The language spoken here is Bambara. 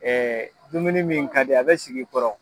dumuni min ka di a bɛ sigi i kɔrɔ!